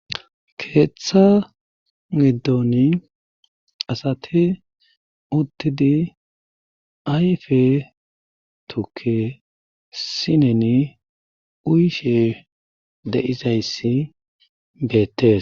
Keeththa giddoni asati uttidi ayfe tukke sineni uyishe de7izayssi beettes.